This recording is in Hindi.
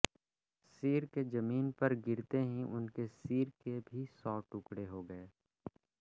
सिर के ज़मीन पर गिरते ही उनके सिर के भी सौ टुकड़े हो गए